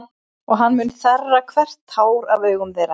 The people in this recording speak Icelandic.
Og hann mun þerra hvert tár af augum þeirra.